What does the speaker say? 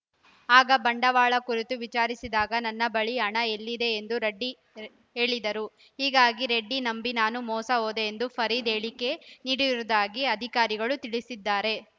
ಆಗ ಬಂಡವಾಳ ಕುರಿತು ವಿಚಾರಿಸಿದಾಗ ನನ್ನ ಬಳಿ ಹಣ ಎಲ್ಲಿದೆ ಎಂದು ರೆಡ್ಡಿ ರೆ ಹೇಳಿದ್ದರು ಹೀಗಾಗಿ ರೆಡ್ಡಿ ನಂಬಿ ನಾನು ಮೋಸ ಹೋದೆ ಎಂದು ಫರೀದ್‌ ಹೇಳಿಕೆ ನೀಡಿರುವುದಾಗಿ ಅಧಿಕಾರಿಗಳು ತಿಳಿಸಿದ್ದಾರೆ